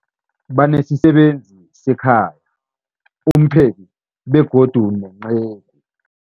Banesisebenzi sekhaya, umpheki, begodu nenceku.